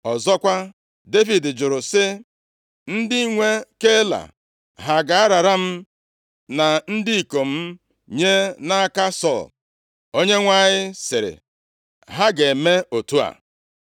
Ọzọkwa, Devid jụrụ sị, “Ndị nwe Keila ha ga-arara m na ndị ikom m nye nʼaka Sọl?” Onyenwe anyị sịrị, “Ha ga-eme otu a.”